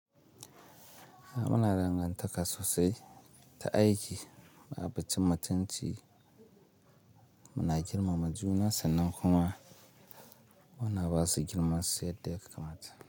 A muna dangantaka sosai ta aiki, a batun cin mutunci muna girmama juna sannan kuma muna basu girma su yadda ya kamata.